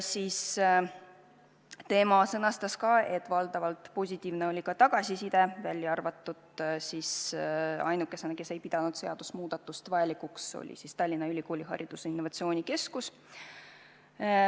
Ta sõnastas ka, et valdavalt oli tagasiside positiivne, ainuke, kes ei pidanud seadusemuudatust vajalikuks, oli Tallinna Ülikooli haridusinnovatsiooni keskus.